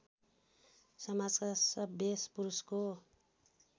समाजका सभ्य पुरुषको